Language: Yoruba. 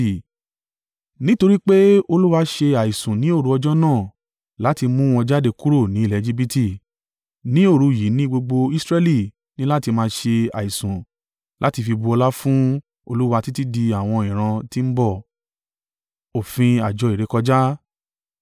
Nítorí pé, Olúwa ṣe àìsùn ni òru ọjọ́ náà láti mú wọn jáde kúrò ní ilẹ̀ Ejibiti, ní òru yìí ni gbogbo Israẹli ní láti máa ṣe àìsùn láti fi bu ọlá fún Olúwa títí di àwọn ìran tí ń bọ̀.